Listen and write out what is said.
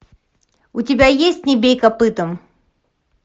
у тебя есть не бей копытом